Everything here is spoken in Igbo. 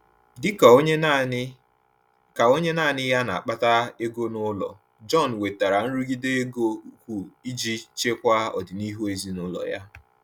Dị ka onye naanị ka onye naanị ya na-akpata ego n’ụlọ, John nwetara nrụgide ego ukwu iji chekwaa ọdịnihu ezinụlọ ya.